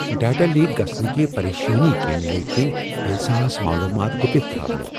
Data leak گژھنٕچہِ پریشٲنی كِنۍ لٔگۍ تِم احساس معلومات گُپِتھ تھاونہ۔